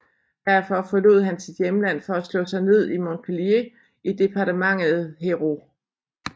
Derfor forlod han sit hjemland for at slå sig ned i Montpellier i departementet Hérault